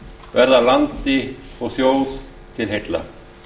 verða landi og þjóð til heilla